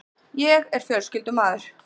Ég er fjölskyldumaður.